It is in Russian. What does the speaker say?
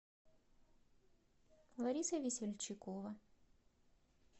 лариса весельчакова